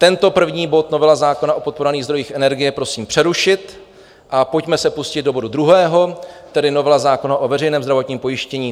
Tento první bod, novela zákona o podporovaných zdrojích energie, prosím přerušit a pojďme se pustit do bodu druhého, tedy novela zákona o veřejném zdravotním pojištění.